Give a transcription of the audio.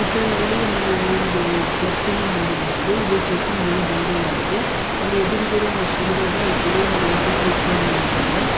ಇದರಲ್ಲಿ ನಾವು ಒಂದು ಉಹ್ ಚರ್ಚ್ ಅನ್ನು ನೋಡಬಹುದು ಇದು ಚರ್ಚಿನ ಒಳ ಭಾಗವಾಗಿದೆ ಅಲ್ಲಿ ಎದ್ರುಗಡೆ ಒಂದು ಶಿಲ್ವೆ ಇದೆ ಆ ಶಿಲ್ವೆ ಮೇಲೆ ಯೇಸು ಕ್ರಿಸ್ತ ಏನೊ ಇದಾನೆ.